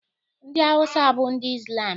Ndị Awụsa bụ ndị Izlam